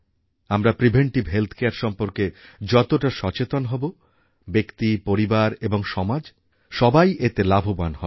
আমরা preventive health care সম্পর্কে যতটা সচেতন হব ব্যক্তি পরিবার এবং সমাজ সবাই এতে লাভবান হবে